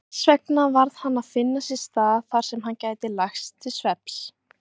Þessvegna varð hann að finna sér stað þarsem hann gæti lagst til svefns.